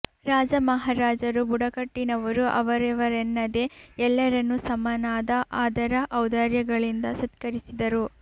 ರಾಜ ಮಹಾರಜರು ಬುಡಕಟ್ಟಿನವರು ಅವರಿವರೆನ್ನದೆ ಎಲ್ಲರನ್ನು ಸಮನಾದ ಆದರ ಔದಾರ್ಯಗಳಿಂದ ಸತ್ಕರಿಸಿದರು